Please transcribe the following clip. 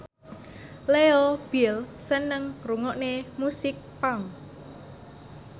Leo Bill seneng ngrungokne musik punk